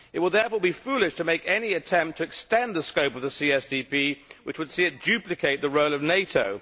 It would therefore be foolish to make any attempt to extend the scope of the CSDP which would see it duplicate the role of NATO.